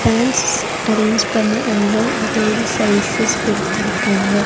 பேன்ஸ் arrange பண்ண அங்க அதோட சைசஸ் குடுத்துருக்காங்க.